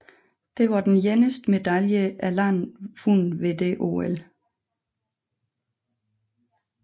Det var den eneste medalje landet vandt ved det OL